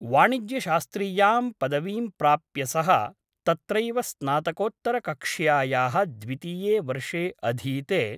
वाणिज्य शास्त्रीयां पदवीं प्राप्य सः तत्रैव स्नातकोत्तरकक्ष्यायाः द्वितीये वर्षे अधीते ।